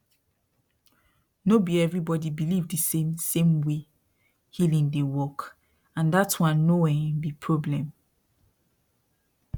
no be everybody believe the same same way healing dey work and dat one no um be problem